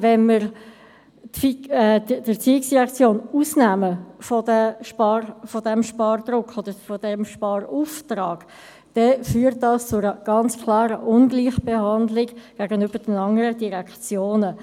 Wenn wir die ERZ von diesem Sparauftrag ausnehmen, führt dies zu einer ganz klaren Ungleichbehandlung gegenüber den anderen Direktionen.